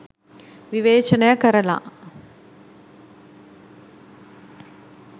විවේචනය කරලා